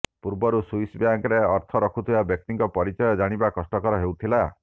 ପୂର୍ବରୁ ସ୍ୱିସ୍ ବ୍ୟାଙ୍କରେ ଅର୍ଥ ରଖୁଥିବା ବ୍ୟକ୍ତିଙ୍କ ପରିଚୟ ଜାଣିବା କଷ୍ଟକର ହେଉଥିଲା